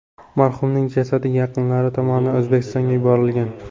Marhumning jasadi yaqinlari tomonidan O‘zbekistonga yuborilgan.